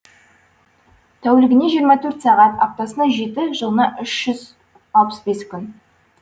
тәулігіне жиырма сағат аптасына жеті жылына үш жүз алпыс бес күн